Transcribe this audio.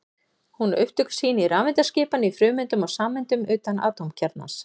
Hún á upptök sín í rafeindaskipan í frumeindum og sameindum utan atómkjarnans.